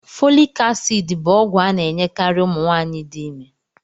Folic acid bu ogwu ana enyekari umunwaanyi di ime